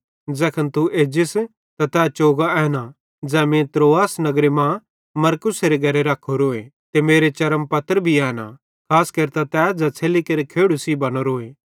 ज़ैखन तू एजस त तै चोगो एना ज़ै मीं त्रोआस नगरे मां मरकुसेरे घरे रख्खोरोए ते मेरे चर्मपत्र भी एना खास केरतां तै ज़ै छ़ेल्ली केरे खेड़ू सेइं बनोरोए